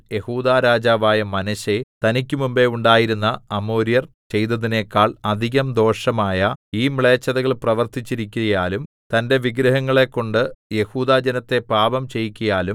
യെഹൂദാ രാജാവായ മനശ്ശെ തനിക്ക് മുമ്പെ ഉണ്ടായിരുന്ന അമോര്യർ ചെയ്തതിനേക്കാൾ അധികം ദോഷമായ ഈ മ്ലേച്ഛതകൾ പ്രവർത്തിച്ചിരിക്കയാലും തന്റെ വിഗ്രഹങ്ങളെക്കൊണ്ട് യെഹൂദാജനത്തെ പാപം ചെയ്യിക്കയാലും